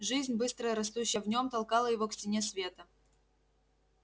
жизнь быстро растущая в нём толкала его к стене света